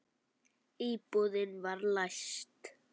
Íbúðin var læst.